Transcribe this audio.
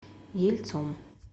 ельцом